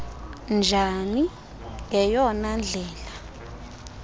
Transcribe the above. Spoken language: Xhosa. njani ngeyona ndlela